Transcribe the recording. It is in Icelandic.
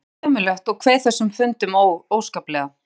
Mér fannst þetta ömurlegt og kveið þessum fundum óskaplega.